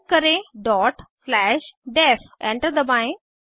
type करें dot slash def enter दबाएं